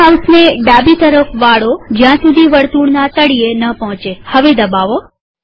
હવે માઉસને ડાબી તરફ વાળોજ્યાં સુધી વર્તુળના તળિયે ન પોહચેહવે દબાવો